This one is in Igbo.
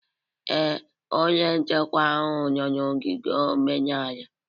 Ee, onye nchekwa ahụ nọ n'ogige omenala